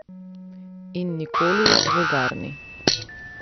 In nikoli vulgarni!